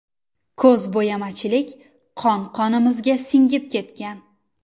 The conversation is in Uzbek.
Ko‘zbo‘yamachilik qon-qonimizga singib ketgan.